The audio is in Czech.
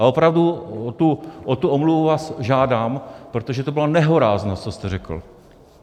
A opravdu o tu omluvu vás žádám, protože to byla nehoráznost, co jste řekl.